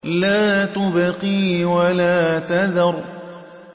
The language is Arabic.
لَا تُبْقِي وَلَا تَذَرُ